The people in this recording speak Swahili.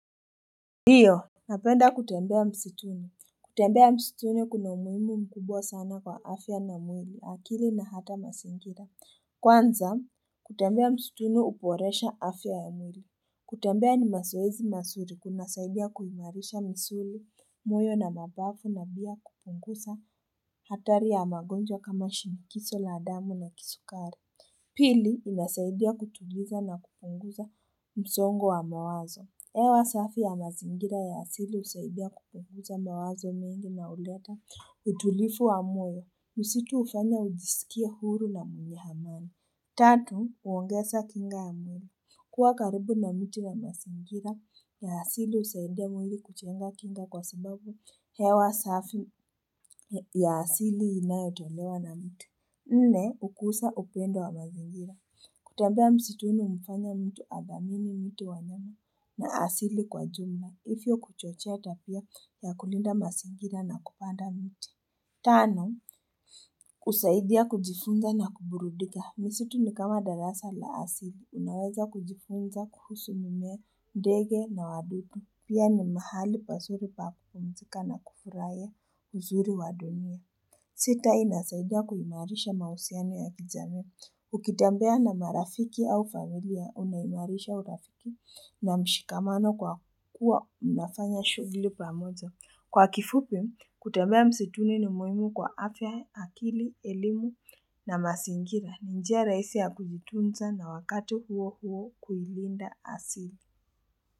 Ndio Napenda kutembea msituni kutembea msituni kuna umuhimu mkubwa sana kwa afya na mwili akili na hata mazingira Kwanza kutembea msituni uboresha afya ya mwili kutembea ni mazoezi mazuri kunasaidia kuhimarisha misuli moyo na mabavu na pia kupungusa hatari ya magonjwa kama shinikizo la damu na kisukari Pili inasaidia kutuliza na kupunguza msongo wa mawazo hewa safi ya mazingira ya asili usaidia kupunguza mawazo mengi na uleta utulivu wa moyo. Msitu hufanya ujiskie huru na mwenye amani. Tatu, uongeza kinga ya mwili. Kuwa karibu na miti na mazingira, ya asili usaidia mwili kujenga kinga kwa sababu hewa safi ya asili inayotolewa na mtu. Nne, hukusa upendo wa mazingira. Kutembea msituni umfanya mtu adhamini miti wanyama na asili kwa jumla. Hivyo kuchochea tabia ya kulinda masingira na kupanda mti. Tano, usaidia kujifunza na kuburudika. Misitu ni kama darasa la asili. Unaweza kujifunza, kuhusu mimea, ndege na wadudu. Pia ni mahali pazuri pa kupumzika na kufurahia uzuri wa dunia. Sita, inasaidia kuhimarisha mahusiano ya kijamii. Ukitembea na marafiki au familia unaimarisha urafiki na mshikamano kwa kuwa unafanya shughli pamoja. Kwa kifupi, kutembea msituni ni muhimu kwa afya akili, elimu na masingira. Ni njia rahisi ya kujitunza na wakati huo huo kuilinda asili.